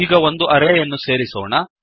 ಈಗ ಒಂದು ಅರೇ ಯನ್ನು ಸೇರಿಸೋಣ